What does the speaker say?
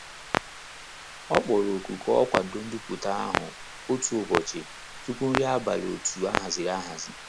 Ọ kpọrọ oku ka ọ kwado ndoputa ahụ otu ụbọchị tupu nri abalị otu a haziri ahazi.